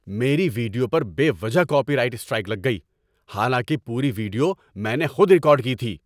میری ویڈیو پر بے وجہ کاپی رائٹ سٹرائک لگ گئی۔ حالانکہ پوری ویڈیو میں نے خود ریکارڈ کی تھی۔